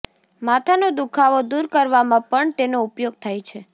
માથાનો દુખાવો દૂર કરવામાં પણ તેનો ઉપયોગ થાય છે